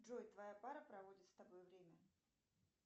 джой твоя пара проводит с тобой время